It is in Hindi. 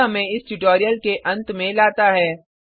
यह हमें इस ट्यूटोरियल के अंत में लाता है